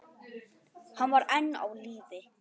Hann var enn á lífi.